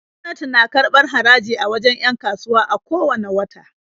Gwamnati na karbar haraji a wajen 'yan kasuwa a ko wanne wata.